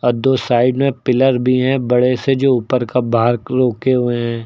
दो साइड में पिलर भी है बड़े से जो ऊपर का हुए हैं।